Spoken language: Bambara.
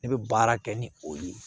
Ne bɛ baara kɛ ni o ye